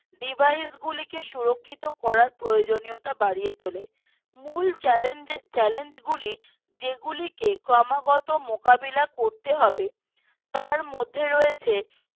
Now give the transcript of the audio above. Device গুলোকে সুরক্ষিত করার প্রয়োজনতা বাড়িয়ে তোলো মূল চ্যালেঞ্জএ চ্যালেঞ্জগুলি যেগুলিকে ক্রমাগত মোকাবেলা করতে হবে তার মধ্যে রয়েছে